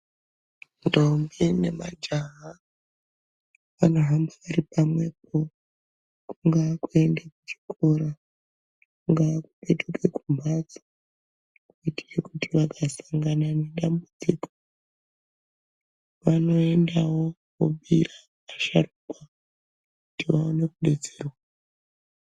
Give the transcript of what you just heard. Ndombi nemajaha vanohambira pamwe po, kungaa kuenda kuchikora. Kungaa kupetuka kumhatso kuitira kuti vakasangana nedambudziko vanoendawo vobhiira asharukwa kuti vaone kudetserwa.